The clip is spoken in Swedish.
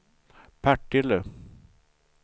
Partille